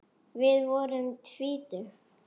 Við vorum tvítug.